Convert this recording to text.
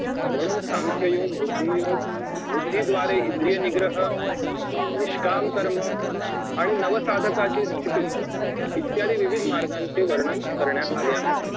म्हणून सांख्ययोग बुद्धियोग बुद्धीद्वारे इंद्रिय निग्रह निष्काम कर्मआणि नवसाधकांची स्थिती इत्यादी विविध मार्गाचे वर्णन करण्यात आले आहे